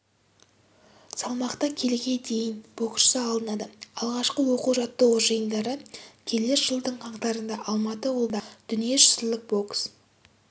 салмақта келіге дейін боксшы алынады алғашқы оқу-жаттығу жиындары келер жылдың қаңтарында алматы облысында дүнииежүзілік бокс